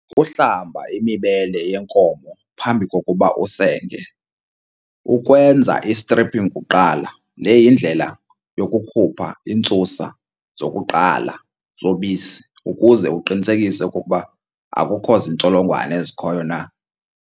Ukuhlamba imibele yenkomo phambi kokuba usenge. Ukwenza i-strapping kuqala le yindlela yokukhupha iintsusa zokuqala zobisi ukuze uqinisekise okokuba akukho zintsholongwane ezikhoyo na.